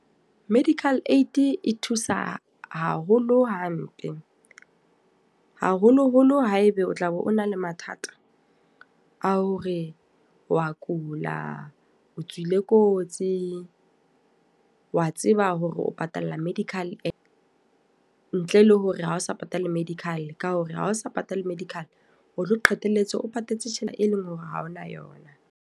Medical aid e thusa haholo hampe. Haholo-holo haeba o tla be o na le mathata. A hore wa kula, o tswile kotsi, wa tseba hore o patalla medical . Ntle le hore ha ho sa patale medical, ka hore ha o sa patale medical o tlo qetelletse o patetse tjhelete e leng hore ha hona yona.